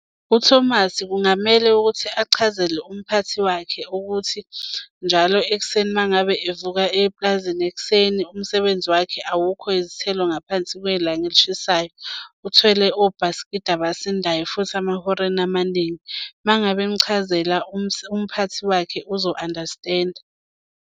UThomas kungamele ukuthi achazele umphathi wakhe ukuthi njalo ekuseni uma ngabe evuka eyepulazini ekuseni umsebenzi wakhe awukho izithelo ngaphansi kwelanga elishisayo. Uthwele obhasikidi abasithandayo futhi amahoreni amaningi. Uma ngabe emuchazela umphathi wakhe uzo-understand-a.